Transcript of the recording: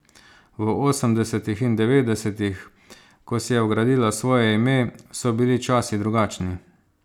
V osemdesetih in devetdesetih, ko si je gradila svoje ime, so bili časi drugačni.